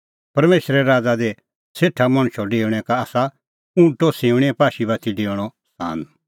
परमेशरे राज़ा दी सेठा मणछो डेऊणैं का आसा ऊँटो सिऊंणीए पाशी बाती डेऊणअ सान